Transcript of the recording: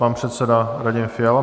Pan předseda Radim Fiala.